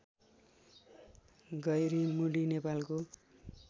गैरिमुडी नेपालको